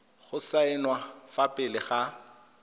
go saenwa fa pele ga